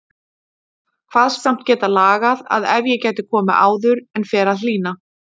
Kvaðst samt geta lagað það ef ég gæti komið áður en fer að hlýna.